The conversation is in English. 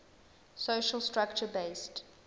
social structure based